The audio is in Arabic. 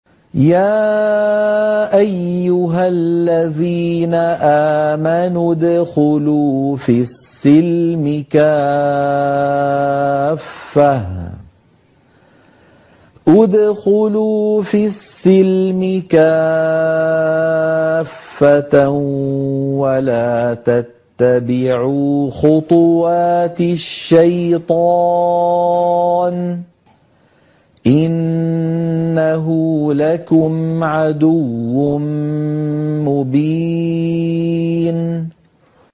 يَا أَيُّهَا الَّذِينَ آمَنُوا ادْخُلُوا فِي السِّلْمِ كَافَّةً وَلَا تَتَّبِعُوا خُطُوَاتِ الشَّيْطَانِ ۚ إِنَّهُ لَكُمْ عَدُوٌّ مُّبِينٌ